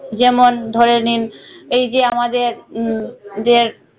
যেমন ধরে নিন এই যে আমাদের উম দের।